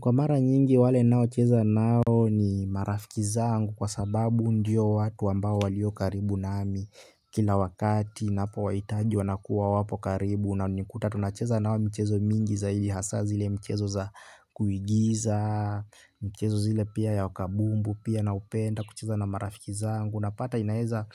Kwa mara nyingi wale nao cheza nao ni marafiki zangu kwa sababu ndiyo watu ambao walio karibu na ami kila wakati napi waitaji wanakuwa wapo karibu na unikuta tunacheza nao mchezo mingi za ili hasa zile mchezo za kuigiza, mchezo zile pia ya wakabumbu, pia na upenda kucheza na marafiki zangu, napata inaweza